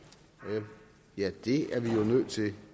ja det er vi jo nødt til